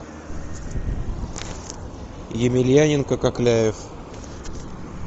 емельяненко кокляев